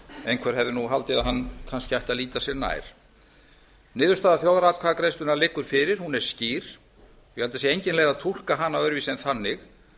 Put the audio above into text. einhver hefði nú haldið að hann kannski ætti að líta sér nær niðurstaða þjóðaratkvæðagreiðslunnar liggur fyrir hún er skýr ég held að það sé engin leið að túlka hana öðruvísi en þannig